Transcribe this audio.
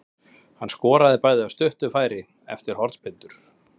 Hann skoraði bæði af stuttu færi eftir hornspyrnur.